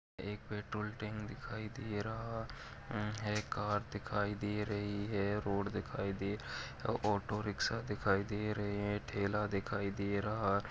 एक petrol tank दिखाई दे रहा उम्म है कार दिखाई दे रही है रोड दिखाई दे रहा है ऑटोरिक्शा दिखाई दे रहे हैं ठेला दिखाई दे रहा है।